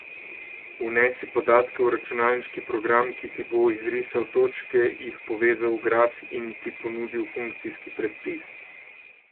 Vnesi podatke v računalniški program, ki ti bo izrisal točke, jih povezal v graf in ti ponudil funkcijski predpis.